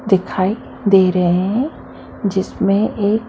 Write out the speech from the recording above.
दिखाई दे रहे हैं जिसमें एक--